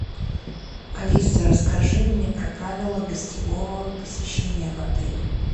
алиса расскажи мне про правила гостевого посещения в отеле